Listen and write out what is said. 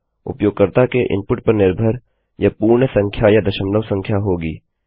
उपयोगकर्ता के इनपुट पर निर्भर यह पूर्ण संख्या या दशमलव संख्या होगी